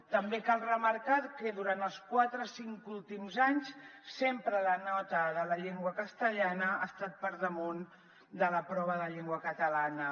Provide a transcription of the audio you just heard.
també cal remarcar que durant els quatre cinc últims anys sempre la nota de la llengua castellana ha estat per damunt de la prova de llengua catalana